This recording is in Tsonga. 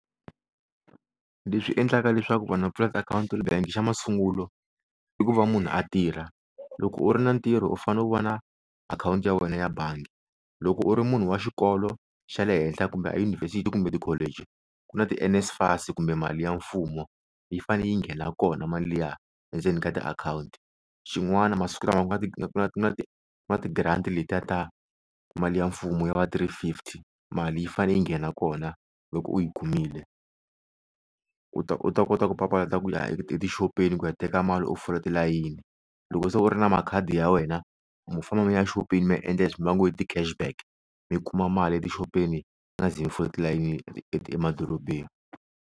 Leswi endlaka leswaku vanhu va pfula akhawunti bank xa masungulo i ku va munhu a tirha loko u ri na ntirho u fane u va na akhawunti ya wena ya bangi loko u ri munhu wa xikolo xa le henhla kumbe a yunivhesiti kumbe ti-college ku na ti NSFAS kumbe mali ya mfumo yi faneyi nghena ya kona mali liya endzeni ka tiakhawunti xin'wana masiku lama ku na ku na ku na ti-grant letiya ta mali ya mfumo ya va three fifty mali yi fane yi nghena kona loko u yi kumile u ta u ta kota ku papalata ku ya etixopeni ku ya teka mali u fola tilayini loko se u ri na makhadi ya wena mo famba mi ya xopeni mi ya endla leswi va ngo i ti-cash back mi kuma mali ya tixopeni ma nga zi mi fola tilayini emadorobeni.